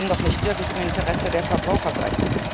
Das kann doch nicht wirklich im Interesse der Verbraucher sein.